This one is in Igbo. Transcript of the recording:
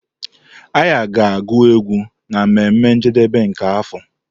Arya ga-agu égwù na mmeme njedebe nke afọ.